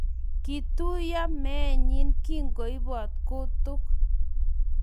Kituiyo meenyi kingoibot kutuk